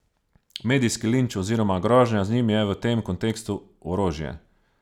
Medijski linč oziroma grožnja z njim je v tem kontekstu orožje.